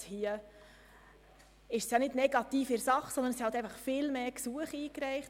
Hier ist es nicht negativ in der Sache, sondern es wurden viel mehr Gesuche eingereicht.